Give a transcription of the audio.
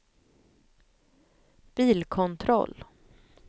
bilkontroll